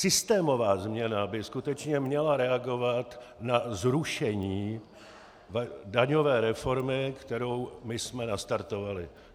Systémová změna by skutečně měla reagovat na zrušení daňové reformy, kterou my jsme nastartovali.